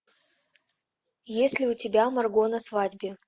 есть ли у тебя марго на свадьбе